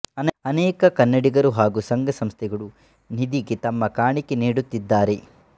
ಅನೇಕ ಕನ್ನಡಿಗರು ಹಾಗೂ ಸಂಘ ಸಂಸ್ಥೆಗಳು ನಿಧಿಗೆ ತಮ್ಮ ಕಾಣಿಕೆ ನೀಡುತ್ತಿದ್ದಾರೆ